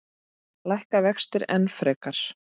Lækka vextir enn frekar?